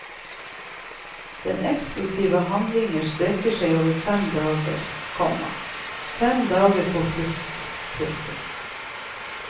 Den eksplosive handlingen strekker seg over fem dager, komma fem dager på flukt. punktum